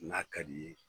N'a ka d'i ye